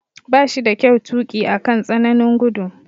Ba shi da kyau tuki akan tsananin gudu.